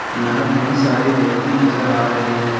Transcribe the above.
यहां कई सारे व्यक्ति नजर आ रहे है।